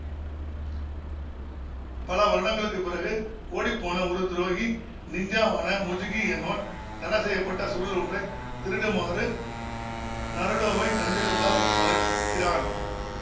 பல வருடங்களுக்குப்பிறகு ஓடிப்போன ஒரு துரோகி நிஞ்ஜாவான முஜுகி என்பவன் தடைசெய்ய பட்ட சுருள் ஒன்றை திருடுமாறு நருடோவைத் தந்திரத்தால் வளைக்கிறான்